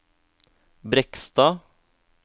Brekstad